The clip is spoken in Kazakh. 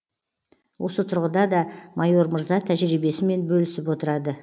осы тұрғыда да майор мырза тәжірибесімен бөлісіп отырады